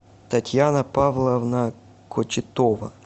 татьяна павловна кочетова